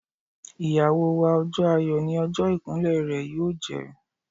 Ìyàwó wa, ọjọ́ ayọ̀ ni ọjọ́ ìkún lẹ̀ rẹ yóò jẹ́.